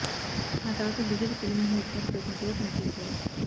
ఆ తర్వాత బీజేపీ తొలి మహిళా అధికార ప్రతినిధిగా పనిచేశారు